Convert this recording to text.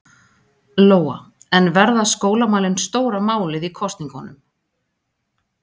Lóa: En verða skólamálin stóra málið í kosningunum?